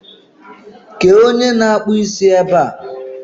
kéé onye na akpụ isi é ba a?